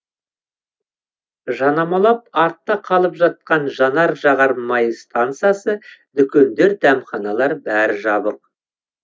жанамалап артта қалып жатқан жанар жағар май стансасы дүкендер дәмханалар бәрі жабық